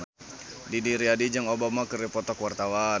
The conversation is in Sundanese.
Didi Riyadi jeung Obama keur dipoto ku wartawan